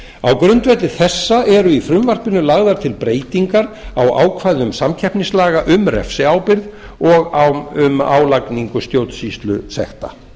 á grundvelli þessa eru í frumvarpinu lagðar til breytingar á ákvæðum samkeppnislaga um refsiábyrgð og um álagningu stjórnsýslusekta